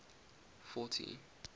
fourty